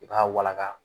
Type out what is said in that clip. I b'a wala